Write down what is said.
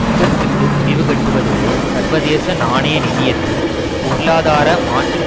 யுத்தத்துக்கு முடிவுகட்டுவதோடு சர்வதேச நாணய நிதியத்தின் பொருளாதார மாற்று